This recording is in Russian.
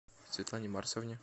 светлане марсовне